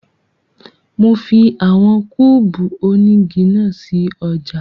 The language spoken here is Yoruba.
Mo fi àwọn kúùbù onígi náà sí ọjà